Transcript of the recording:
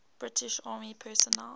british army personnel